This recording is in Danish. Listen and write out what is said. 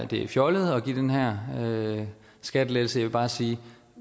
det er fjollet at give den her skattelettelse jeg vil bare sige at